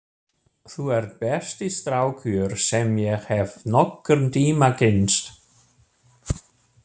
Þú ert besti strákur sem ég hef nokkurn tíma kynnst!